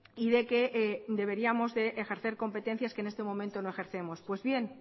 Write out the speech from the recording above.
y de que deberíamos de ejercer competencias que en este momento no ejercemos pues bien